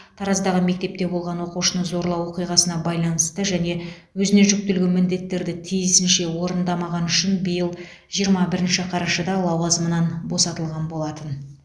тараздағы мектепте болған оқушыны зорлау оқиғасына байланысты және өзіне жүктелген міндеттерді тиісінше орындамағаны үшін биыл жиырма бірінші қарашада лауазымынан босатылған болатын